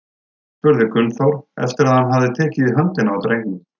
spurði Gunnþór, eftir að hann hafði tekið í höndina á drengnum.